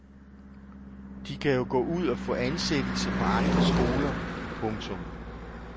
De kan jo gå ud og få ansættelse på andre skoler. punktum